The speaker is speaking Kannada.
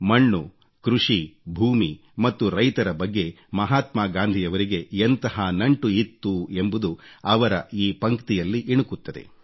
ಮಣ್ಣು ಕೃಷಿ ಭೂಮಿ ಮತ್ತು ರೈತರ ಬಗ್ಗೆ ಮಹಾತ್ಮಾ ಗಾಂಧಿಯವರಿಗೆ ಎಂತಹ ನಂಟು ಇತ್ತು ಎಂಬುದು ಅವರ ಈ ಪಂಕ್ತಿಯಲ್ಲಿ ಇಣುಕುತ್ತದೆ